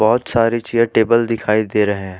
बहुत सारी chair table दिखाई दे रहे हैं।